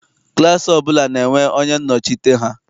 Klaasị ọbụla na-enwe onye nnọchite ha.